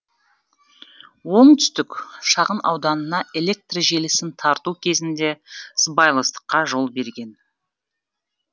оңтүстік шағын ауданына электр желісін тарту кезінде де сыбайластыққа жол берген